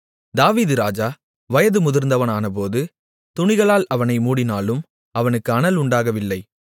தாவீது ராஜா வயது முதிர்ந்தவனானபோது துணிகளால் அவனை மூடினாலும் அவனுக்கு அனல் உண்டாகவில்லை